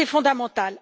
C'est fondamental.